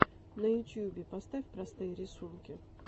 на ютубе поставь простые рисунки